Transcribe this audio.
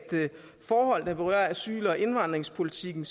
for forhold der berører asyl og indvandringspolitikken